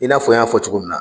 I n'a fɔ n y'a fɔ cogo min na.